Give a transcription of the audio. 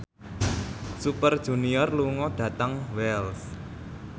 Super Junior lunga dhateng Wells